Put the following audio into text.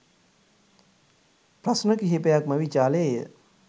ප්‍රශ්න කිහිපයක්ම විචාළේය.